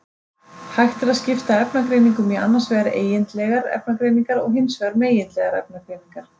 Hægt er að skipta efnagreiningum í annars vegar eigindlegar efnagreiningar og hins vegar megindlegar efnagreiningar.